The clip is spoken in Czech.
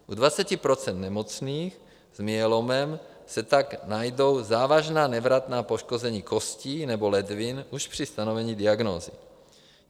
U 20 % nemocných s myelomem se tak najdou závažná nevratná poškození kostí nebo ledvin už při stanovení diagnózy.